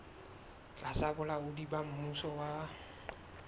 tlasa bolaodi ba mmuso wa